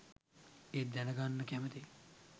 ඒත් දැනගන්න කැමතියි